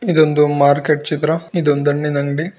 ಇದೊಂದು ಮಾರ್ಕೆಟ್ ಚಿತ್ರ ಇದು ಧನ್ಯದ ಅಂಗಡಿ.